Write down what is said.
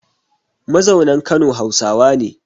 Mazaunan Kano Hausawa ne